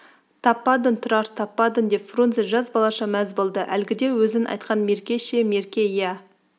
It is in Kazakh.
таппадың тұрар таппадың деп фрунзе жас балаша мәз болды әлгіде өзің айтқан мерке ше мерке иә